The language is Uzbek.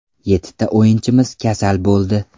Yettita o‘yinchimiz kasal bo‘ldi.